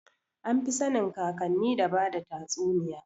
Anfi sanin kakanni da bada tatsuniya